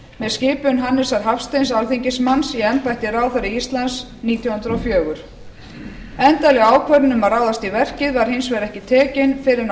stjórnskipun með skipun hannesar hafsteins alþingismanns í embætti ráðherra íslands nítján hundruð og fjögur endanleg ákvörðun um að ráðast í verkið var hins vegar ekki tekin fyrr en á